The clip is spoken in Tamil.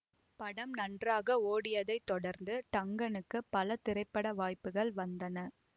படம் நன்றாக ஓடியதைத் தொடர்ந்து டங்கனுக்கு பல திரைப்பட வாய்ப்புகள் வந்தன